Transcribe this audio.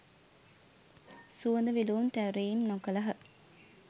සුවඳ විලවුන් තැවරීම් නොකළහ.